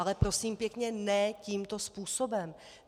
Ale prosím pěkně, ne tímto způsobem.